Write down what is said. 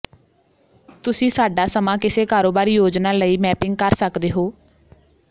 ਤੁਸੀਂ ਸਾਡਾ ਸਮਾਂ ਕਿਸੇ ਕਾਰੋਬਾਰੀ ਯੋਜਨਾ ਲਈ ਮੈਪਿੰਗ ਕਰ ਸਕਦੇ ਹੋ